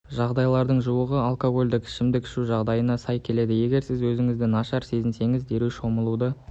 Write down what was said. жағдайлардың жуығы алкогольдік ішімдік ішу жағ-дайына сай келеді егер сіз өзіңізді нашар сезінсеңіз дереу шомылуды